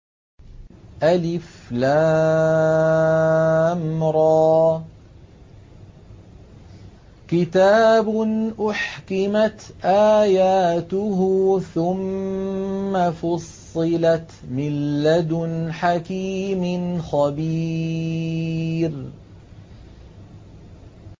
الر ۚ كِتَابٌ أُحْكِمَتْ آيَاتُهُ ثُمَّ فُصِّلَتْ مِن لَّدُنْ حَكِيمٍ خَبِيرٍ